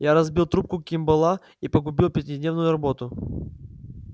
я разбил трубку кимболла и погубил пятидневную работу